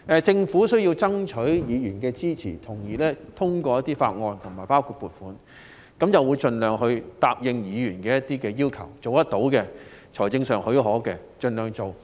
政府需要爭取議員的支持來通過一些法案，包括撥款條例草案，因而會盡量答應議員一些要求，會盡量實行可行的或財政許可的措施。